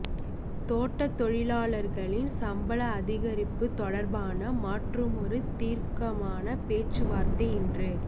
தோட்டத் தொழிலாளர்களின் சம்பள அதிகரிப்புத் தொடர்பான மற்றுமொரு தீர்க்கமான பேச்சுவார்த்தை இன்று